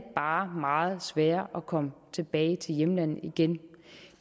meget sværere at komme tilbage til hjemlandet igen